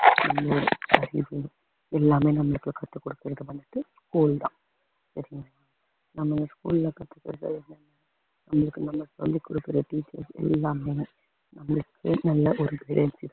எல்லாமே நம்மளுக்கு கத்துக் கொடுத்தது வந்துட்டு school தான் நம்ம school ல கத்துக்கறது என்னா அவங்க நமக்கு சொல்லிக் கொடுக்கிற teachers எல்லாமே நம்மளுக்கு நல்ல ஒரு